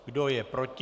Kdo je proti?